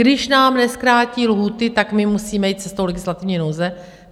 Když nám nezkrátí lhůty, tak my musíme jít cestou legislativní nouze?